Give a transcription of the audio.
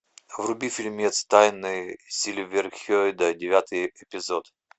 вруби фильмец тайны сильверхейда девятый эпизод